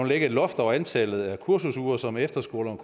lægge et loft over antallet af kursusuger som efterskolerne